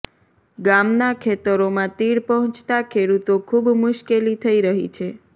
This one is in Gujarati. ગામના ખેતરોમાં તીડ પહોંચતા ખેડૂતો ખૂબ મુશ્કેલી થઇ રહી છે